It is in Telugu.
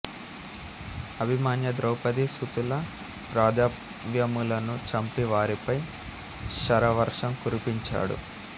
అభిమన్య ద్రౌపదీ సుతుల రధాశ్వములను చంపి వారిపై శరవర్షం కురిపించాడు